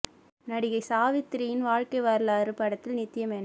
நடிகை சாவித்திரியின் வாழ்க்கை வரலாறு படத்தில் நித்யா மேனன்